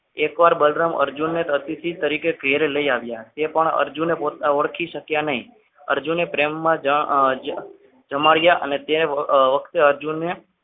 એકવાર બલરામ અર્જુન ને અતિથિ તરીકે ઘરે લઈ આવ્યા એ પણ અર્જુનને ઓળખી શક્યા નહીં અર્જુનને પ્રેમમાં જમાડ્યા અને તે વખતે અર્જુને